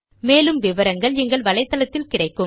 மேற்கொண்டு விவரங்கள் எங்கள் வலைத்தளத்தில் கிடைக்கும்